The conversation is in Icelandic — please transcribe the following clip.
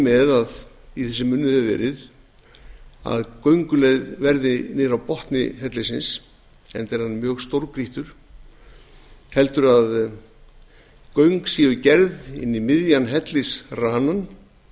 með að í þessum að gönguleið verði niður á botni hellisins enda er hann mjög stórgrýttur heldur að göng séu gerð inn í miðjan hellisranann